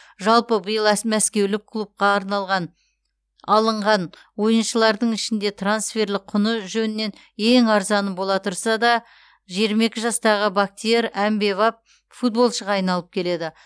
жалпы биыл әс мәскеулік клубқа арналған алынған ойыншылардың ішінде трансферлік құны жөнінен ең арзаны бола тұрса да жиырма екі жастағы бактиер әмбебап футболшыға айналып келеді